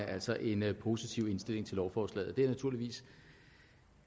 altså en positiv indstilling til lovforslaget det er jeg naturligvis